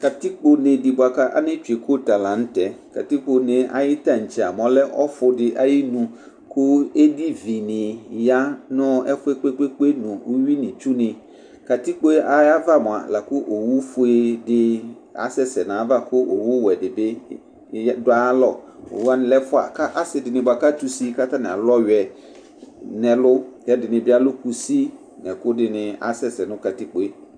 Katikpone di bʋakʋ ane tsue kota lanʋtɛ katikpo ayu tantse mɛ ɔlɛ ɔfʋdi ayʋ inu kʋ edivini yanʋ ɛfʋ yɛ kpe kpe kpe nʋ uwi nʋ itsuni katikpo ayʋ ava mʋa lakʋ owʋfue di asɛsɛ nʋ ayʋ ava kʋ owʋwɛ dibi dʋ ayʋ alɔ owʋ wani lɛ ɛfʋa kʋ asi dini kʋ atʋ ʋsi kʋ atani alʋ ɔwiɛ nʋ ɛlʋ kʋ ɛdini bi alʋ kusi nʋ ɛkʋ dini kʋ asɛsɛ nʋ kakipkoe